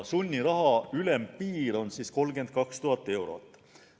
Sunniraha ülempiir on 32 000 eurot.